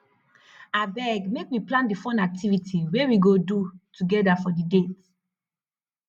abeg make we plan di fun activity wey we go do togeda for di date